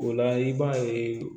O la i b'a ye